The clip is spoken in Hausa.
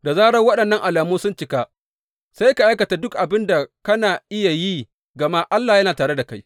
Da zarar waɗannan alamu sun cika, sai ka aikata duk abin da kana iya yi gama Allah yana tare da kai.